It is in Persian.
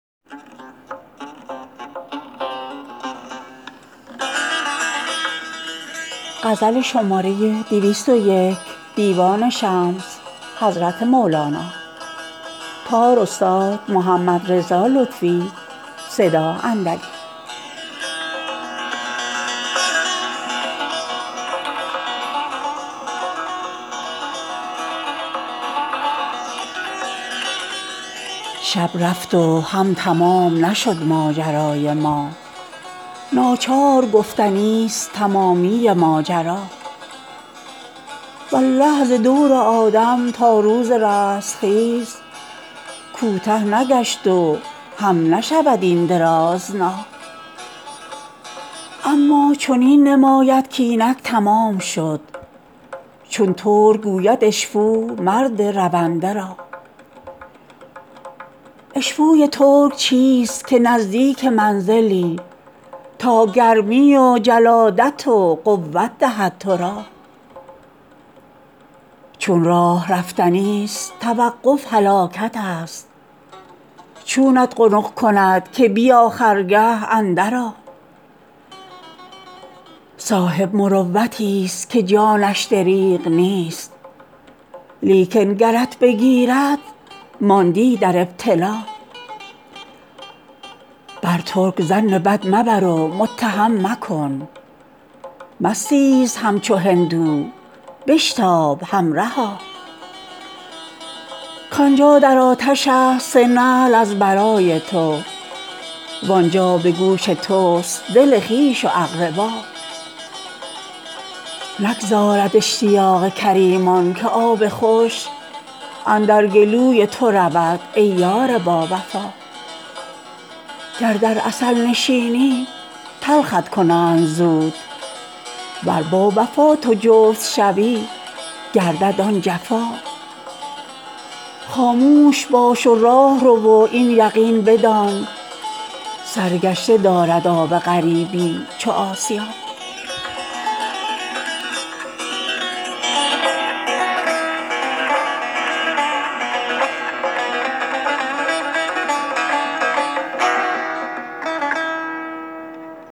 شب رفت و هم تمام نشد ماجرای ما ناچار گفتنی ست تمامی ماجرا والله ز دور آدم تا روز رستخیز کوته نگشت و هم نشود این درازنا اما چنین نماید کاینک تمام شد چون ترک گوید اشپو مرد رونده را اشپوی ترک چیست که نزدیک منزلی تا گرمی و جلادت و قوت دهد تو را چون راه رفتنی ست توقف هلاکت ست چونت قنق کند که بیا خرگه اندرآ صاحب مروتی ست که جانش دریغ نیست لیکن گرت بگیرد ماندی در ابتلا بر ترک ظن بد مبر و متهم مکن مستیز همچو هندو بشتاب همرها کان جا در آتش است سه نعل از برای تو وان جا به گوش تست دل خویش و اقربا نگذارد اشتیاق کریمان که آب خوش اندر گلوی تو رود ای یار باوفا گر در عسل نشینی تلخت کنند زود ور با وفا تو جفت شوی گردد آن جفا خاموش باش و راه رو و این یقین بدان سرگشته دارد آب غریبی چو آسیا